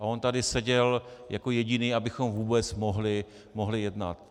A on tady seděl jako jediný, abychom vůbec mohli jednat.